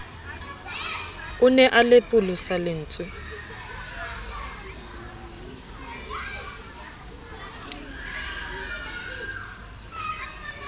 o ne a lepolosa lentswe